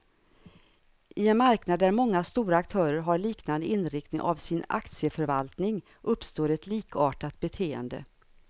I en marknad där många stora aktörer har liknande inriktning av sin aktieförvaltning, uppstår ett likartat beteende.